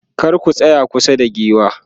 kar ku tsaya kusa da giwa